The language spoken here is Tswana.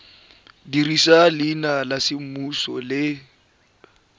dirisa leina la semmuso le